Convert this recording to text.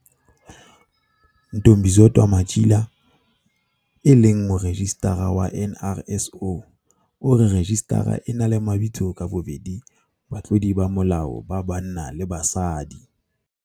Ntombizodwa Matjila, e leng Morejistara wa NRSO, o re rejistara e na le mabitso a ka bobedi batlodi ba molao ba banna le ba basadi.